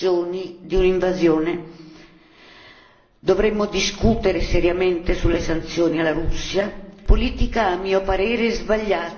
Dovremmo discutere seriamente sulle sanzioni alla Russia, una politica a mio parere sbagliata, anzi una non politica.